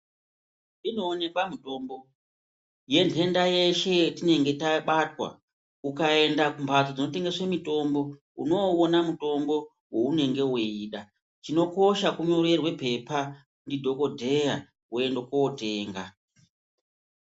Inoonekwa mutombo yentenda yeshe yetinenge tabatwa ukaenda kumbatso dzinotengeswe mitombo unoona mutombo weunenge weida, chinokosha kunyorerwe oepa ndidhokodheya woende kotenga.